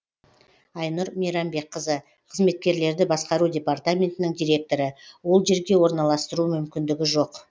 айнұр мейрамбекқызы қызметкерлерді басқару департаментінің директоры ол жерге орналастыру мүмкіндігі жоқ